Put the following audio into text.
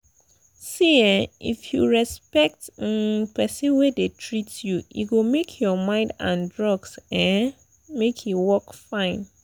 see ehnn if you respect um person wey dey treat you e go make your mind and drugs um make e work fine.